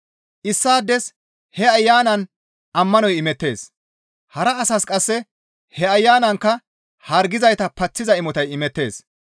Issaades he Ayanan ammanoy imettees; hara asas qasse he Ayanankka hargizayta paththiza imotay imettees.